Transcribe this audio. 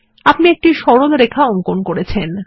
আপনি একটি সরল রেখা অঙ্কন করেছেন